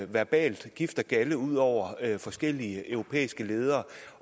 verbal gift og galde ud over forskellige europæiske ledere